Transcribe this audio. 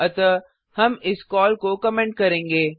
अतः हम इस कॉल को कमेंट करेंगे